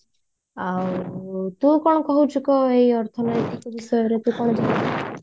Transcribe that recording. ଆଉ ତୁ କଣ କହୁଛୁ କହ ଅର୍ଥନୈତିକ ବିଷୟରେ ତୁ କଣ